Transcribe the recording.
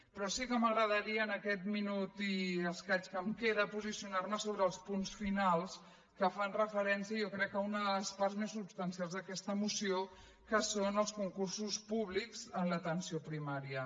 però sí que m’agradaria en aquest minut i escaig que em queda posicionar me sobre els punts finals que fan referència jo crec a una de les parts més substancials d’aquesta moció que són els concursos públics en l’atenció primària